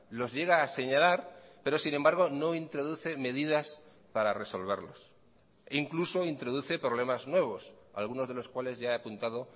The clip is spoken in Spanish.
los llega a señalar pero sin embargo no introduce medidas para resolverlos incluso introduce problemas nuevos algunos de los cuales ya he apuntado